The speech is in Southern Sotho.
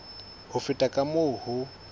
ho feta ka moo ho